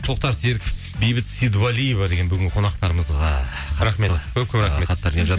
тоқтар серіков бейбіт сейдуалиева деген бүгінгі қонақтарымызға рахмет көп көп рахмет хаттар келім